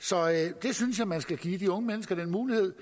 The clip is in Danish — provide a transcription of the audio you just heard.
så jeg synes man skal give de unge mennesker den mulighed